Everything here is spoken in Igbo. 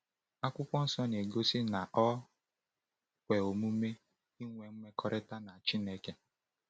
Akwụkwọ Nsọ na-egosi na o kwe omume ịnwe mmekọrịta na Chineke.